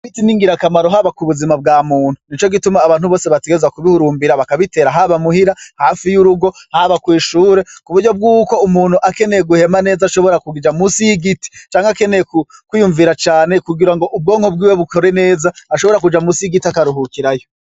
Ibiti n'ingirakamaro haba kubuzina bwa muntu, nico gituma abantu Bose bategererzwa kubihurumbira bakabiyera, haba muhira, hafi y'urugo, haba kw'ishure kuburyo bwuko umuntu akeneye guhema neza ashobora kuja musi y'igiti canke akeneye kw'iyumvira cane kugira ngo ubwonko bwiwe bukore neza ashobora kuja musi y'igiti akaruhukirayo.